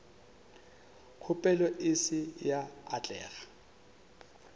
kgopelo e se ya atlega